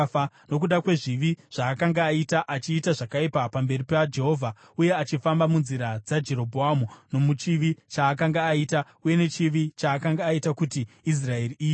nokuda kwezvivi zvaakanga aita, achiita zvakaipa pamberi paJehovha uye achifamba munzira dzaJerobhoamu nomuchivi chaakanga aita, uye nechivi chaakanga aita kuti Israeri iite.